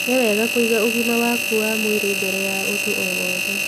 Nĩ wega kũiga ũgima waku wa mwĩrĩ mbere ya ũndũ o wothe